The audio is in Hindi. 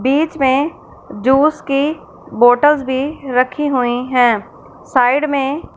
बीच में जूस की बॉटल्स भी रखी हुई हैं साइड में--